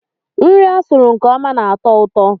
Nri a sụrụ nke ọma na-atọ ụtọ.